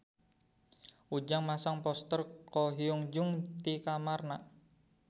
Ujang masang poster Ko Hyun Jung di kamarna